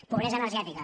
pobresa energètica